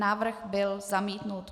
Návrh byl zamítnut.